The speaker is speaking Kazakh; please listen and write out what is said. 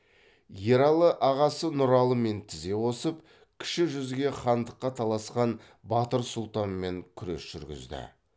ералы ағасы нұралымен тізе қосып кіші жүзге хандыққа таласқан батыр сұлтанмен күрес жүргізді